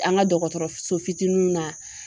An ka dɔgɔtɔrɔso fitininw na.